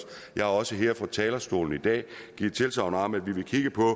jeg har også fra talerstolen i dag givet tilsagn om at vi vil kigge på